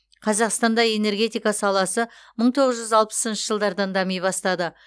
қазақстанда энергетика саласы мың тоғыз жүз алпысыншы жылдардан дами бастады